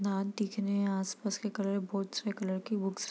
दांत दिख रहे है आस-पास के कलर बहुत से कलर की बुक्स --